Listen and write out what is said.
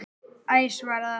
Æ svaraði hann.